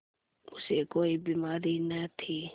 उसे कोई बीमारी न थी